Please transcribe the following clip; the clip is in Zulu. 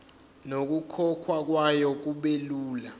nokukhokhwa kwayo kubelula